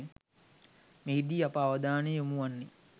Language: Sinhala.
මෙහිදී අප අවධානය යොමු වන්නේ